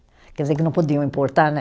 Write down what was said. Quer dizer que não podiam importar, né?